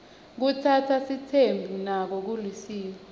kutsatsa sitsembu nako kulisiko